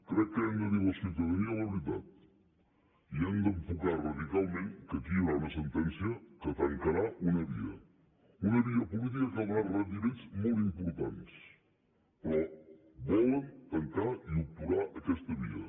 crec que hem de dir a la ciutadania la veritat i hem d’enfocar radicalment que aquí hi haurà una sentència que tancarà una via una via política que ha donat rendiments molt importants però volen tancar i obturar aquesta via